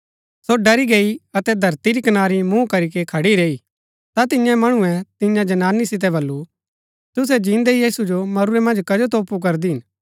सो डरी गैई अतै धरती री कनारी मुँह करीके खड़ी रैई ता तियें मणुऐ तियां जनानी सितै बल्लू तुसै जिन्दै यीशु जो मरुरै मन्ज कजो तोपू करदी हिन